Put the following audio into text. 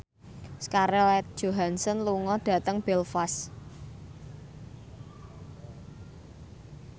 Scarlett Johansson lunga dhateng Belfast